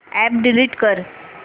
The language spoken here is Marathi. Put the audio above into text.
अॅप डिलीट कर